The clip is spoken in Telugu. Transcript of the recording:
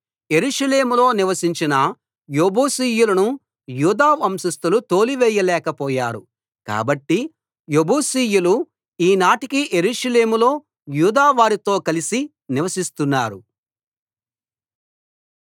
యెరూషలేములో నివసించిన యెబూసీయులను యూదా వంశస్థులు తోలివేయలేకపోయారు కాబట్టి యెబూసీయులు ఈ నాటికీ యెరూషలేములో యూదా వారితో కలిసి నివసిస్తున్నారు